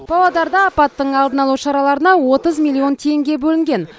павлодарда апаттың алдын алу шараларына отыз миллион теңге бөлінген